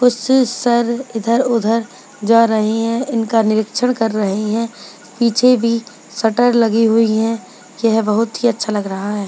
कुछ सर इधर-उधर जा रही है इनका निरीक्षण कर रही है पीछे भी शटर लगी हुई है यह बहुत ही अच्छा लग रहा है।